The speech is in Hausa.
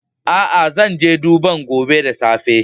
Aa, zan je duban gobe da safe.